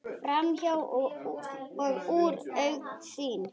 Framhjá og úr augsýn.